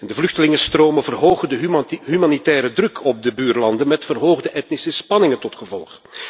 De vluchtelingenstromen verhogen de humanitaire druk op de buurlanden, met verhoogde etnische spanningen tot gevolg.